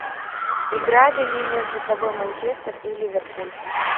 играли ли между собой манчестер и ливерпуль